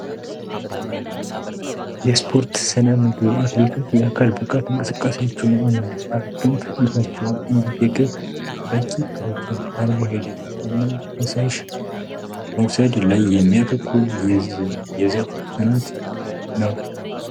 የስፖርት ስነ ምግብ አክሌቶች የአካል በቃት እንቅስቃሳችውን እና የማግን ፍጥነታቸውን እንጅ የገብ ራቂ ፕሮኪን ካርቦ ሄድት እና ከሳሽ መውሳይድ ላይ የሚያተኩር የዘፍ ተናት ነው።